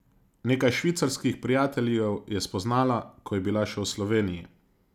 Nekaj švicarskih prijateljev je spoznala, ko je bila še v Sloveniji.